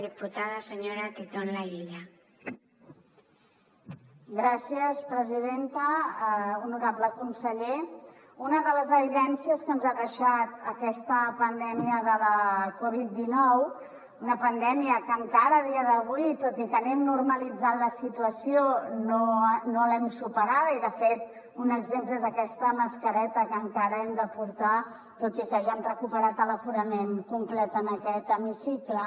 honorable conseller una de les evidències que ens ha deixat aquesta pandèmia de la covid dinou una pandèmia que encara a dia d’avui tot i que anem normalitzant la situació no l’hem superada i de fet un exemple és aquesta mascareta que encara hem de portar tot i que ja hem recuperat l’aforament complet en aquest hemicicle